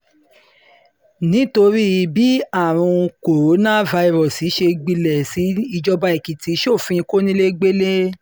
nítorí um bí àrùn kòǹgóláfàírọ́ọ̀sì ṣe ń um gbilẹ̀ sí i ìjọba èkìtì sófin kọnilẹ́gbẹ́lẹ́